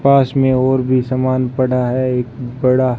पास में और भी समान पड़ा है एक बड़ा--